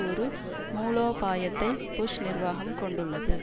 ஒரு மூலோபாயத்தை புஷ் நிர்வாகம் கொண்டுள்ளது